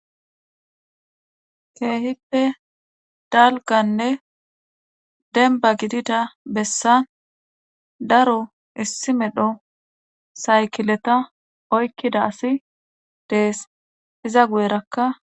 Keehippe dalgganne dembba gidida bessa daro issi medho saykileta oykkida asi dees iza guyerakka.